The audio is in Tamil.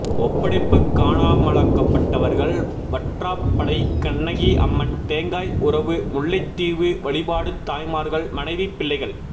ஒப்படைப்பு காணாமலாக்கப்பட்டவர்கள் வற்றாப்பளை கண்ணகி அம்மன் தேங்காய் உறவு முல்லைத்தீவு வழிபாடு தாய்மார்கள் மனைவி பிள்ளைகள்